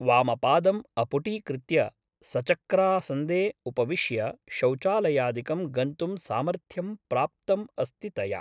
वामपादम् अपुटीकृत्य सचक्रासन्दे उपविश्य शौचालयादिकं गन्तुं सामर्थ्यं प्राप्तम् अस्ति तया ।